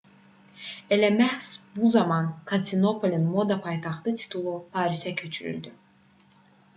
elə məhz bu zaman konstantinopolun moda paytaxtı titulu parisə köçürüldü